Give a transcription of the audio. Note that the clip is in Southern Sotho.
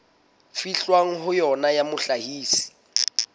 fihlwang ho yona ya mohlahisi